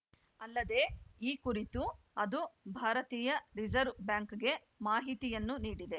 ಅಲ್ಲದೆ ಈ ಕುರಿತು ಅದು ಭಾರತೀಯ ರಿಸರ್ವ್ ಬ್ಯಾಂಕ್‌ಗೆ ಮಾಹಿತಿಯನ್ನು ನೀಡಿದೆ